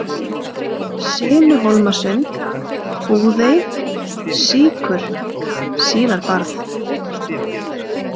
Sinuhólmasund, Búðey, Síkur, Sílabarð